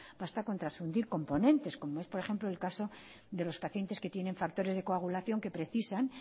basta con transfundir componentes como es por ejemplo el caso de los pacientes que tienen factores de coagulación que precisan